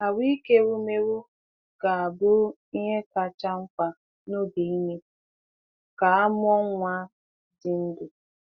Ahụ́ike ewumewụ ga-abụ ihe kacha mkpa n’oge ime ka a mụọ nwa dị ndụ.